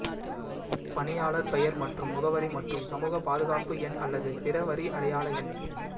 பணியாளர் பெயர் மற்றும் முகவரி மற்றும் சமூக பாதுகாப்பு எண் அல்லது பிற வரி அடையாள எண்